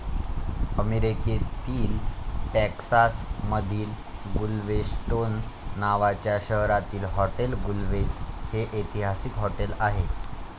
अमेरीकेतील टेक्सास मधिल गुलवेस्टोन नावाच्या शहरातील हॉटेल गुलवेझ हे ऐतिहसिक हॉटेल आहे.